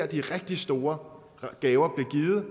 de rigtig store gaver bliver givet